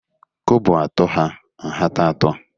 Kobo atọ hà nhata atọ